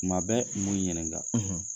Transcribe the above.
Kuma bɛɛ m'u ɲininka.